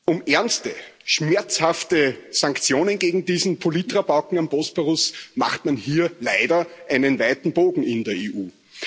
Um ernste, schmerzhafte Sanktionen gegen diesen Politrabauken am Bosporus macht man hier leider einen weiten Bogen in der EU.